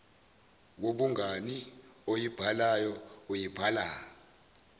yobungani oyibhalayo uyibhala